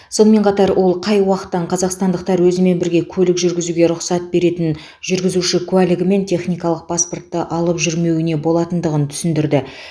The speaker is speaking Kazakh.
сонымен қатар ол қай уақыттан қазақстандықтар өзімен бірге көлік жүргізуге рұқсат беретін жүргізуші куәлігі мен техникалық паспортты алып жүрмеуіне болатындығын түсіндірді